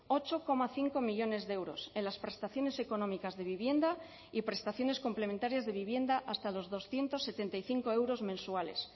ocho coma cinco millónes de euros en las prestaciones económicas de vivienda y prestaciones complementarias de vivienda hasta los doscientos setenta y cinco euros mensuales